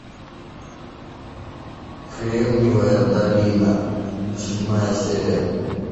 кремниевая долина седьмая серия